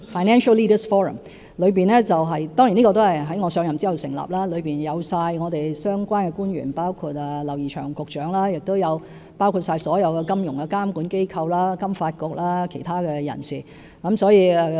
這個委員會也在我上任後成立，成員涵蓋相關官員，包括劉怡翔局長，以及所有金融監管機構、香港金融發展局和其他人士。